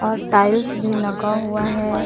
और टाइल्स भी लगा हुआ है।